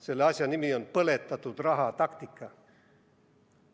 Selle asja nimi on põletatud raha taktika.